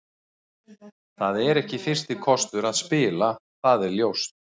Það er ekki fyrsti kostur að spila, það er ljóst.